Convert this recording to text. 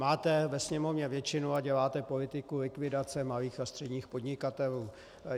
Máte ve Sněmovně většinu a děláte politiku likvidace malých a středních podnikatelů.